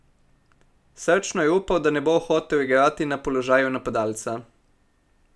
Srčno je upal, da ne bo hotel igrati na položaju napadalca.